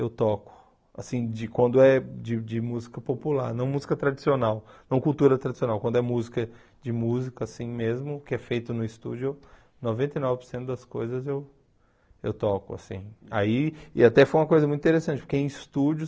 eu toco assim de quando é de de música popular não música tradicional não cultura tradicional quando é música de música assim mesmo que é feito no estúdio noventa e nove por cento das coisas eu eu toco assim aí e até foi uma coisa muito interessante porque em estúdio